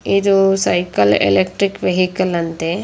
ಇದು cycle electric vehicle ಅಂತೇ.